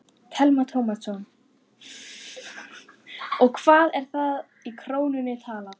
Telma Tómasson: Og hvað er það í krónum talið?